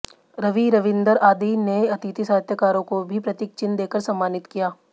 रवि रविंदर आदि ने अतिथि साहित्यकारों को भी प्रतीक चिन्ह देकर सम्मानित किया